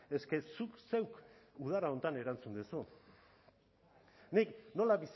eske zuk zeuk udara honetan erantzun duzu nik nola